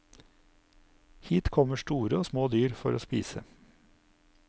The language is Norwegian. Hit kommer store og små dyr for å spise.